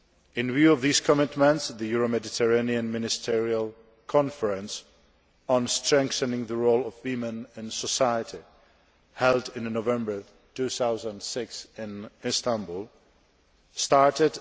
In view of these commitments, the Euro Mediterranean Ministerial conference on strengthening the role of women in society, held in November 2006 in Istanbul, started